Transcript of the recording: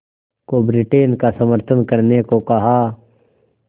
को ब्रिटेन का समर्थन करने को कहा